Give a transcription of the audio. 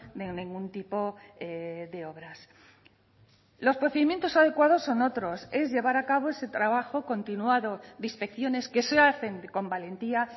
de ningún tipo de obras los procedimientos adecuados son otros es llevar a cabo ese trabajo continuado de inspecciones que se hacen con valentía